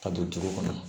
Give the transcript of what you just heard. Ka don duw kɔnɔ